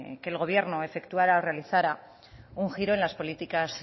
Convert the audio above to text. que el gobierno efectuara o realizara un giro en las políticas